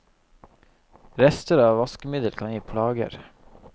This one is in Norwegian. Rester av vaskemiddel kan gi plager.